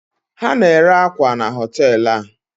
ha na-ere akwa na hotel a